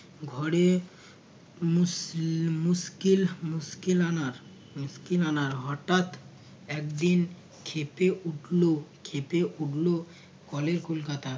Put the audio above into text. ঘরে মুস মুশকিল মুশকিল আনার মুশকিল আনার হঠাৎ একদিন ক্ষেপে উঠল ক্ষেপে উঠল কলের কলকাতা